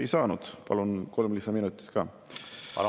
Miks valitsusel on järsku kiire kõigi nende asjade vastuvõtmisega?